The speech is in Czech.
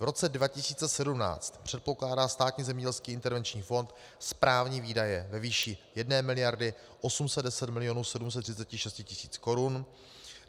V roce 2017 předpokládá Státní zemědělský intervenční fond správní výdaje ve výši 1 miliardy 810 milionů 736 tisíc korun.